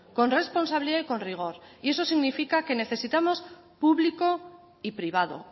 con responsabilidad y con rigor y eso significa que necesitamos público y privado